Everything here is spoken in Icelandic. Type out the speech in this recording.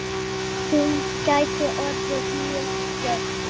Hún gæti orðið mjög jöfn.